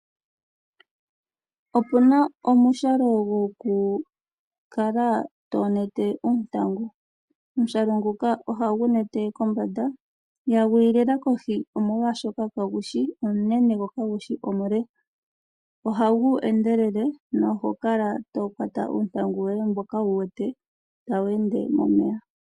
Opuna omushalo gokukala tonete oontangu . Omushale nguka ohagu nete kombanda . Ihagu yi lela kohi omolwaashoka kagu shi omunene, gwo kagu shi omule. Ohagu endelele nohokala tokwata uuntangu woye mboka wuwete tawu ende momeya.